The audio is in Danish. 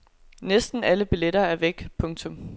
Næsten alle billetter er væk. punktum